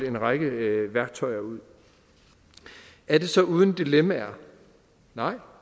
en række værktøjer ud er det så uden dilemmaer nej